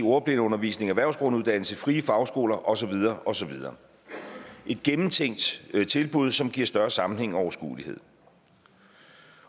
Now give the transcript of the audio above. ordblindeundervisning erhvervsgrunduddannelse frie fagskoler og så videre og så videre et gennemtænkt tilbud som giver større sammenhæng og overskuelighed